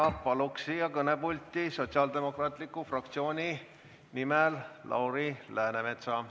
Palun kõnepulti sotsiaaldemokraatide fraktsiooni nimel sõna võtma Lauri Läänemetsa.